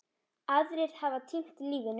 Aðrir hafa týnt lífinu.